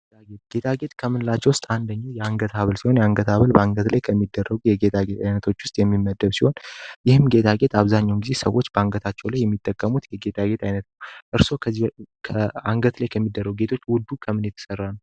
ጌጣጌጥ አንደኛው የአንገት ሀብል የአንገት አበል ባንገሩኝ የጌታ አይነቶች የሚመደብ ሲሆን ይህን ጌታ አብዛኛው ጊዜ ሰዎች አንገታቸው ላይ የሚጠቀሙት አይነት እርሶ ከአንገት የሚደረጉ ጌቶች የተሰራ ነው